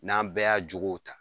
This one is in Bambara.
N'an bɛɛ y'a jogow ta